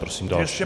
Prosím další.